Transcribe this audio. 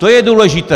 To je důležité!